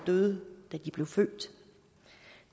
døde da de blev født